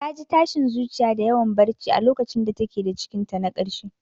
Ta ji tashin zuciya da yawan barci a lokacin da ta ke da cikinta na karshe.